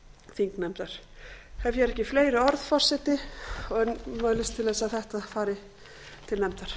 þingnefndar ég hef hér ekki fleiri orð en mælist til að þetta fari til nefndar